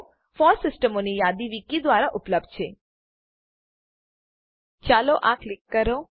FOSS સિસ્ટમોની યાદી wiki દ્વારા ઉપલબ્ધ છે- ચાલો આ ક્લિક કરો